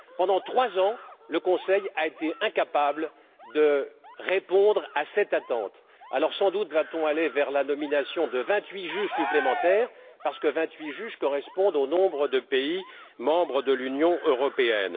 Pendant trois ans, le Conseil a été incapable de répondre à cette attente. Alors sans doute allons nous vers la nomination de vingt huit juges supplémentaires parce que ce nombre correspond au nombre de pays membres de l'Union européenne.